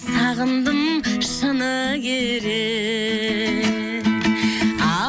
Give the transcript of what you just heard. сағындым шыны керек